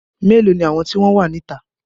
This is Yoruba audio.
Melo ni àwọn tí wọn wá ní ìta?